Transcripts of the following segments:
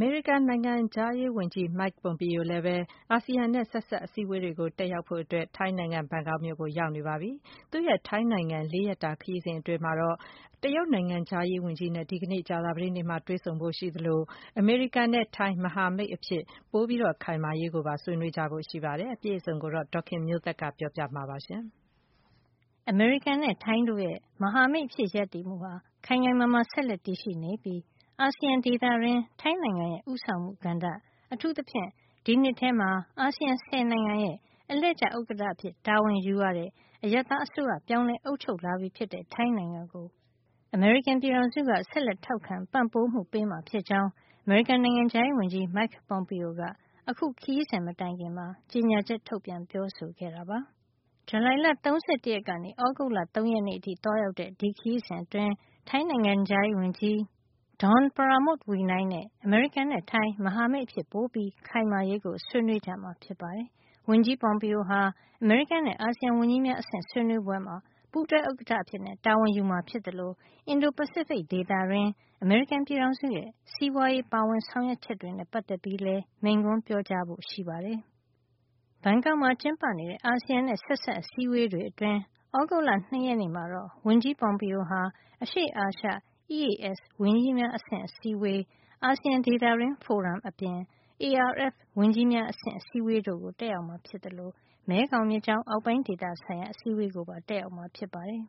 မေရိကန် နိုင်ငံခြားရေးဝန်ကြီး Mike Pompeo ဟာ အာဆီယံနဲ့ ဆက်စပ်အ စည်းဝေးတွေကို တက်ရောက်ဖို့ ထိုင်းနိုင်ငံ ဘန်ကောက်မြို့ကို ရောက်ရှိနေပါပြီ။ သူ့ရဲ့ ထိုင်းနိုင်ငံ ၄ ရက်တာ ခရီးစဉ်အတွင်း တရုတ် နိုင်ငံခြားရေးဝန်ကြီးနဲ့ ဒီကနေ့ ကြာသပတေးနေ့မှာ တွေ့ဆုံမှာ ဖြစ်သလို အမေရိကန်နဲ့ ထိုင်း မဟာမိတ်အဖြစ် ပိုပြီး ခိုင်မာရေးကိုပါ ဆွေးနွေးဖို့ ရှိပါတယ်။ အပြည့်အစုံကို ဒေါ်ခင်မျိုးသက်က ပြောပြပေးမှာပါ။ အမေရိကန်နဲ့ ထိုင်း တို့ရဲ့ မဟာမိတ်အဖြစ်ရပ်တည်မှုဟာ ခိုင်ခိုင်မာမာ ဆက်လက် တည်ရှိနေပြီး အာဆီယံဒေသအတွင်း ထိုင်းနိုင်ငံရဲ့ ဦးဆောင်မှုကဏ္ဍ၊ အထူးသဖြင့် ဒီနှစ်ထဲမှာ အာဆီယံ ဆယ်နိုင်ငံရဲ့ အလှည့်ကျ ဥက္ကဌအဖြစ် တာဝန်ယူရတဲ့ အရပ်သား အစိုးရ ပြောင်းလဲ အုပ်ချုပ်လာပြီဖြစ်တဲ့ ထိုင်းနိုင်ငံကို အမေရိကန်က ဆက်လက်ထောက်ခံ ပံ့ပိုးမှုပေးမှာ ဖြစ်ကြောင်း အမေရိကန် နိုင်ငံခြားရေးဝန်ကြီး Mike Pompeo က အခု ခရီးစဉ် မတိုင်ခင်မှာ ကြေညာချက် ထုတ်ပြန်ပြောဆိုခဲ့တာပါ။ ဇူလိုင်လ ၃၁ ရက်နေ့ကနေ သြဂုတ်လ ၃ ရက်နေ့အထိ သွားရောက်တဲ့ ခရီးစဉ်အတွင်း ထိုင်းနိုင်ငံခြားရေး ဝန်ကြီး Don Pramudwinai နဲ့ အမေရိကန်နဲ့ ထိုင်း မဟာမိတ်အဖြစ် ပိုပြီး ခိုင်မာရေးကို ဆွေးနွေးကြမှာ ဖြစ်ပါတယ်။ ဝန်ကြီး Pompeo ဟာ အမေရိကန်နဲ့ အာဆီယံ ဝန်ကြီးများအဆင့် ဆွေးနွေးပွဲမှာ ပူးတွဲ ဥက္ကဌအဖြစ် တာဝန်ယူမှာ ဖြစ်သလို အင်ဒိုပစိဖိတ် ဒေသတွင်း အမေရိကန်ပြည်ထောင်စု ရဲ့ စီးပွါးရေးပါဝင်ဆောင်ရွက်ချက်တွေနဲ့ ပတ်သက်ပြီးလည်း မိန့်ခွန်းပြောကြားဖို့ ရှိပါတယ်။ ဘန်ကောက်မှာ ကျင်းပနေတဲ့ အာဆီယံနဲ့ ဆက်စပ်အစည်းဝေးတွေအတွင်း သြဂုတ်လ ၂ ရက်နေ့မှာတော့ ဝန်ကြီး Pompeo ဟာ အရှေ့အာရှ EAS ဝန်ကြီးများ အဆင့် အစည်းအဝေး၊ ASEAN ဒေသတွင်း ဖိုရမ် အပြင် ARF ဝန်ကြီးများ အဆင့်အစည်းအဝေး တို့ကို တက်ရောက်မှာ ဖြစ်သလို မဲခေါင်မြစ်ကြောင်း အောက်ပိုင်းဒေသဆိုင်ရာ အစည်းဝေးကိုပါ တက်ရောက်မှာ ဖြစ်ပါတယ်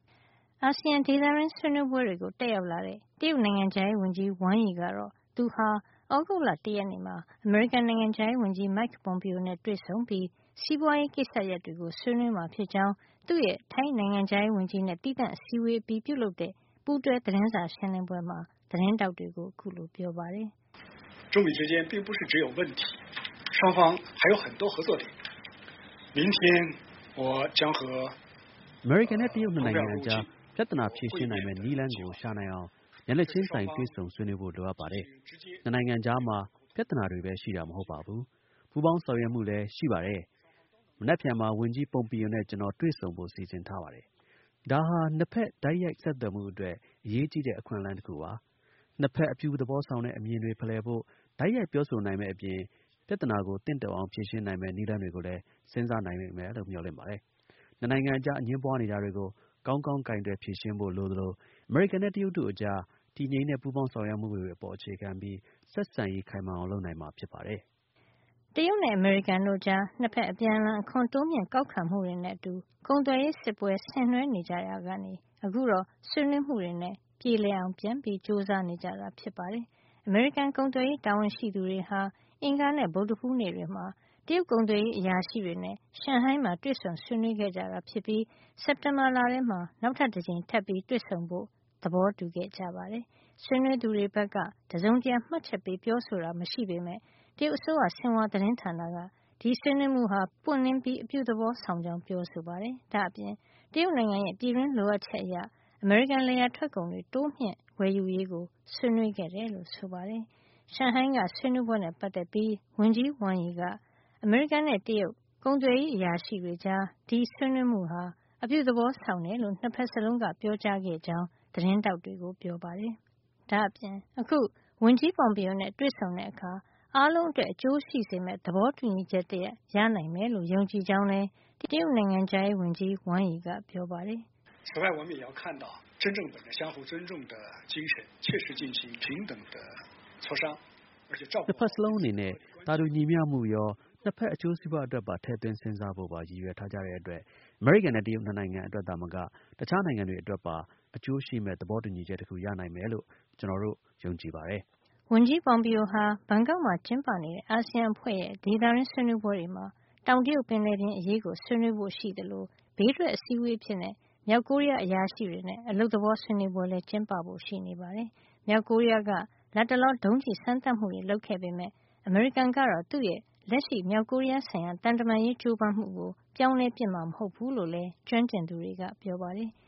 ။ အာဆီယံ ဒေသတွင်းဆွေးနွေးပွဲတွေကို တက်ရောက်လာတဲ့ တရုတ်နိုင်ငံခြားရေးဝန်ကြီး Wang Yi က တော့ သူဟာ သြဂုတ်လ ၁ ရက်နေ့မှာ အမေရိကန်နိုင်ငံခြားရေး ဝန်ကြီး Mike Pompeo နဲ့ တွေ့ဆုံပြီး စီးပွါးရေးကိစ္စရပ်တွေကို ဆွေးနွေးမှာ ဖြစ်ကြောင်းသူ့ရဲ့ ထိုင်းနိုင်ငံခြားရေး ဝန်ကြီးနဲ့ သီးသန့် အစည်းအဝေး အပြီးပြုလုပ်တဲ့ ပူးတွဲ သတင်းစာ ရှင်းလင်းပွဲမှာ သတင်းထောက်တွေကို ပြောပါတယ်။ "အမေရိကန်နဲ့ တရုတ် ၂ နိုင်ငံကြား ပြဿနာ ဖြေရှင်းနိုင်မယ့် နည်းလမ်းကို ရှာနိုင်အောင် မျက်နှာချင်းဆိုင်တွေ့ဆုံဆွေးနွေးဖို့ လိုအပ်ပါတယ်။ ၂ နိုင်ငံကြားမှာ ပြဿနာတွေပဲ ရှိတာ မဟုတ်ပါဘူး ပူးပေါင်းဆောင်ရွက်မှုလည်း ရှိပါတယ်။ မနက်ဖြန်မှာ ဝန်ကြီး Pompeo နဲ့ ကျနော်တွေ့ဆုံဖို့ စီစဉ်ထားပါတယ်။ ဒါဟာ ၂ ဖက် တိုက်ရိုက်ဆက်သွယ်မှု အတွက် အရေးကြီးတဲ့ အခွင့်အလမ်း တခုပါ။ ၂ ဖက် အပြုသဘောဆောင်တဲ့ အမြင်တွေ ဖလှယ်ဖို့ တိုက်ရိုက်ပြောဆိုနိုင်မယ့် အပြင် ပြဿနာကို သင့်တော်အောင် ဖြေရှင်းနိုင်မယ့် နည်းလမ်းတွေ ကိုလည်း စဉ်းစားနိုင်မယ်လို့ မျှော်လင့်ပါတယ်။ ၂ နိုင်ငံကြား အငြင်းပွါးနေတာတွေကို ကောင်းကောင်း ကိုင်တွယ်ဖြေရှင်းဖို့ လိုသလို အမေရိကန်နဲ့ တရုတ်တို့ကြား တည်ငြိမ်တဲ့ ပူးပေါင်းဆောင်ရွက်မှုတွေပေါ် အခြေခံပြီး ဆက်ဆံရေး ခိုင်မာအောင် လုပ်နိုင်မှာ ဖြစ်ပါတယ်။” တရုတ်နဲ့ အမေရိကန်တို့ကြား ၂ ဖက် အပြန်အလှန် အခွန်တိုးမြှင့်ကောက်ခံမှုတွေနဲ့အတူ ကုန်သွယ်ရေးစစ်ပွဲ ဆင်နွှဲနေကြရာကနေ အခုတော့ ဆွေးနွေးမှုတွေနဲ့ ပြေလည်အောင် ကြိုးစားနေကြတာဖြစ်ပါတယ်။ အမေရိကန် ကုန်သွယ်ရေး တာဝန်ရှိသူတွေဟာ အင်္ဂါနဲ့ ဗုဒ္ဓဟူး နေ့တွေမှာ တရုတ် ကုန်သွယ်ရေး အရာရှိတွေနဲ့ ရှန်ဟိုင်းမှာ တွေ့ဆုံဆွေးနွေး ခဲ့ကြတာ ဖြစ်ပြီး စက်တင်ဘာလထဲမှာ နောက်တကြိမ် ထပ်ပြီး တွေ့ဆုံဆွေးနွေးဖို့ သဘောတူခဲ့ကြပါတယ်။ ဆွေးနွေးသူတွေ ဘက်က တစုံတရာ မှတ်ချက်ပေး ပြောဆိုတာ မရှိပေမယ့် တရုတ်အစိုးရ ဆင်ဟွာ သတင်းဌာနက ဒီဆွေးနွေးမှုဟာ ပွင့်လင်းပြီး အပြုသဘော ဆောင်ကြောင်းပြောဆိုခဲ့ပါတယ်။ ဒါ့အပြင် တရုတ်နိုင်ငံရဲ့ ပြည်တွင်း လိုအပ်ချက် အရ အမေရိကန် လယ်ယာထွက်ကုန်တွေ တိုးမြှင့် ဝယ်ယူရေးကို ဆွေးနွေးခဲ့တယ်လို့ ဆိုပါတယ်။ ရှန်ဟိုင်းက ဆွေးနွေးပွဲနဲ့ ပတ်သက်ပြီး ဝန်ကြီး Wang Yi က အမေရိကန်နဲ့ တရုတ် ကုန်သွယ်ရေး အရာရှိတွေကြား ဒီဆွေးနွေးမှုတွေဟာ အပြုသဘော ဆောင်တယ်လို့ ၂ ဖက်စလုံးက ပြောကြားခဲ့ကြောင်း သတင်းထောက်တွေကို ပြောပါတယ်။ အခု ဝန်ကြီး Pompeo နဲ့ တွေ့ဆုံတဲ့အခါ အားလုံးအတွက် အကျိုးရှိစေမယ့် သဘောတူညီချက် တရပ် ရနိုင်မယ်လို့ ယုံကြည်ကြောင်းလည်း တရုတ် နိုင်ငံခြားရေး ဝန်ကြီး Wang Yi က ပြောပါတယ်။ "၂ ဖက်စလုံးအနေနဲ့ သာတူညီမျှမှုရော ၂ ဖက် အကျိုးစီးပွါးအတွက်ပါ ထည့်သွင်းစဉ်းစားဖို့ပါ ရည်ရွယ်ထားကြတဲ့အတွက် အမေရိကန်နဲ့ တရုတ် ၂နိုင်ငံအတွက်သာမက တခြားနိုင်ငံတွေ အတွက်ပါ အကျိုးရှိမယ့် သဘောတူညီချက် တခုရနိုင်မယ်လို့ ကျနော်တို့ ယုံကြည်ပါတယ်။” ဝန်ကြီး Pompeo ဟာ ဘန်ကောက်မှာ ကျင်းပနေတဲ့ အာဆီယံအဖွဲ့ရဲ့ ဒေသတွင်းဆွေးနွေးပွဲတွေမှာ တောင်တရုတ်ပင်လယ် အရေးကို ဆွေးနွေးဖို့ရှိသလို ဘေးထွက်အစည်းအဝေးအဖြစ် မြောက်ကိုရီးယား အရာရှိတွေနဲ့ အလုပ်သဘောဆွေးနွေးပွဲလည်း ကျင်းပဖို့ ရှိပါတယ်။ မြောက်ကိုရီးယားက လတ်တလော ဒုံးကျည်စမ်းသပ်မှုတွေ လုပ်ခဲ့ပေမယ့် အမေရိကန်ကတော့ သူ့ရဲ့ လက်ရှိ မြောက်ကိုရီးယားဆိုင်ရာ သံတမန်ရေး ကြိုးပမ်းမှုကို ပြောင်းလဲပစ်မှာ မဟုတ်ဖူးလို့လည်း ကျွမ်းကျင်သူတွေက ပြောပါတယ်။